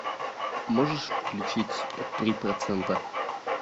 можешь включить три процента